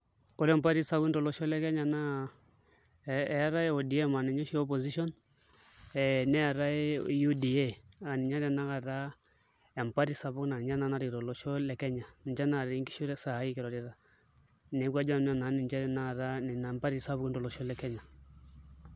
Ore mpatii sapukin tolosho le Kenya naa eetai ODM aa ninye oshi opposition ee neetai UDA aa ninye tanakata empati sapuk naa ninye tanakata narikito olosho le Kenya ninche naatii nkishu saai kirorita, neeku ajo nanu enaa ninche tanakata mpatii sapukin tolosho le Kenya.